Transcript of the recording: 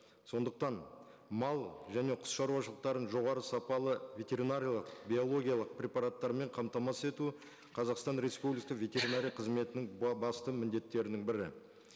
сондықтан мал және құс шаруашылықтарын жоғары сапалы ветеринариялық биологиялық препараттармен қамтамасыз етуі қазақстан республика ветеринария қызметінің басты міндеттерінің бірі